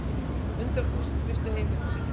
Hundruð þúsunda misstu heimili sín.